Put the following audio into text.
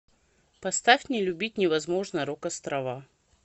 поставь не любить невозможно рок острова